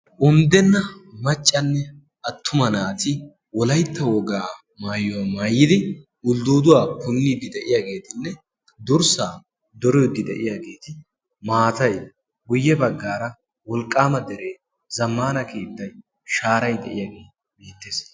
undenna macanne attuma naati wolaytta wogaa maayuwaa mayidagetuppe guyeera maatay guye bagaara wolqaama deree maatay de'iyagee beetees.